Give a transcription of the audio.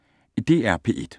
DR P1